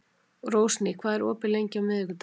Rósný, hvað er opið lengi á miðvikudaginn?